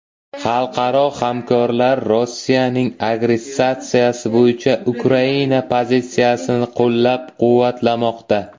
Xalqaro hamkorlar Rossiyaning agressiyasi bo‘yicha Ukraina pozitsiyasini qo‘llab-quvvatlamoqda.